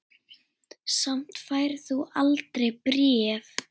Samt færð þú aldrei bréf.